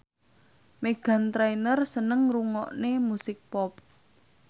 Meghan Trainor seneng ngrungokne musik pop